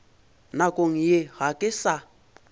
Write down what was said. nakong ye ga ke sa